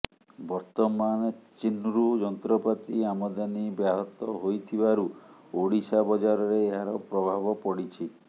ବର୍ତ୍ତମାନ ଚୀନ୍ରୁ ଯନ୍ତ୍ରପାତି ଆମଦାନୀ ବ୍ୟାହତ ହୋଇଥିବାରୁ ଓଡିଶା ବଜାରରେ ଏହାର ପ୍ରଭାବ ପଡିଛି